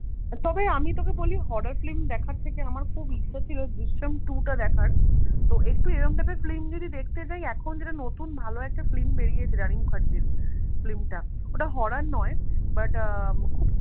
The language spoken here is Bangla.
তবে আমি তোকে বলি horror film দেখার থেকে আমার খুব ইচ্ছে হচ্ছিল দৃশ্যম two টা দেখার তো একটু এরম type এর film যদি দেখতে যাই এখন যেটা নতুন ভালো একটা film বেরিয়েছে রানি মুখার্জির film টা ওটা horror নয় but আহ খুব